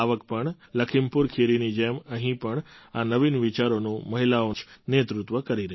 લખીમપુર ખીરીની જેમ અહીં પણ આ નવીન વિચારોનું મહિલાઓ જ નેતૃત્વ કરી રહી છે